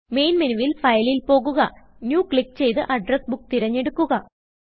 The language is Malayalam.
മെയിൻ മെനുവിൽ Fileൽ പോകുക Newക്ലിക്ക് ചെയ്ത് അഡ്രസ് ബുക്ക് തിരഞ്ഞെടുക്കുക